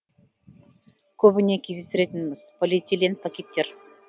көбіне кездестіретініміз полиэтилен пакеттер